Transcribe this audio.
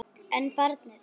En barnið?